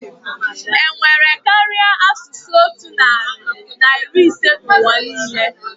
Enwere karịa asụsụ otu narị na iri ise na ụwa niile?